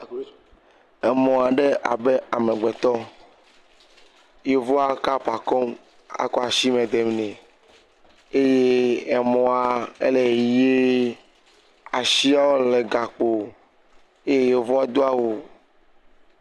Emɔ aɖe abe amegbetɔ, yevua kapa kɔm akɔ asime dem nɛ eye emɔa ele yiyim asiawo le gakpo eye yevua do awu